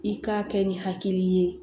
I k'a kɛ ni hakili ye